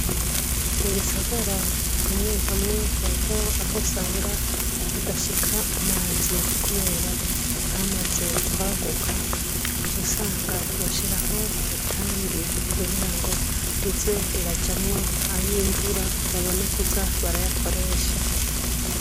Mu gisagara hamwe hamwe hariho aho usanga hadashika amazi kubera hamaze kuaguka ukaco usanga bashyiraho itangi kugira ngo rize rirajamwo ayo imvura babone kuza barayakoresha.